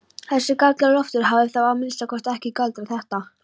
Þessi Galdra-Loftur hafði þá að minnsta kosti ekki galdrað þetta.